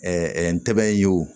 ntɛ bɛ ye o